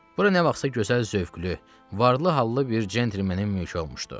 Bura nə vaxtsa gözəl zövqlü, varlı-hallı bir centlmenin mülkü olmuşdu.